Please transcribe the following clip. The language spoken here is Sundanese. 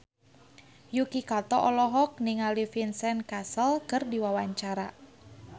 Yuki Kato olohok ningali Vincent Cassel keur diwawancara